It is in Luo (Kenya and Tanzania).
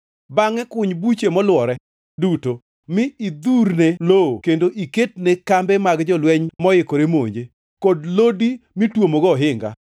Bangʼe kuny buche molwore duto, mi idhurne lowo kendo iketne kambe mag jolweny moikore monje, kod lodi mitwomogo ohinga.